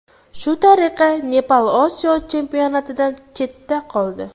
Shu tariqa Nepal Osiyo chempionatidan chetda qoldi.